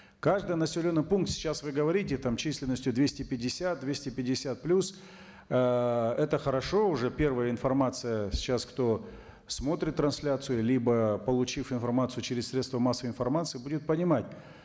каждый населенный пункт сейчас вы говорите там численностью двести пятьдесят двести пятьдесят плюс ыыы это хорошо уже первая информация сейчас кто смотрит трансляцию либо получив информацию через средство массовой информации будет понимать